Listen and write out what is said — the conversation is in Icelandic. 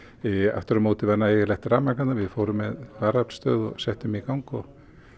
aftur á mót var nægilegt rafmagn þarna við fórum með varaaflsstöð og settum í gang og